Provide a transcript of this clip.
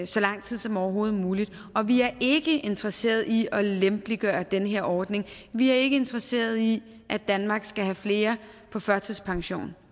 så lang tid som overhovedet muligt og vi er ikke interesseret i at lempeliggøre den her ordning vi er ikke interesseret i at danmark skal have flere på førtidspension